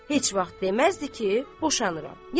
Heç vaxt deməzdi ki, boşanıram.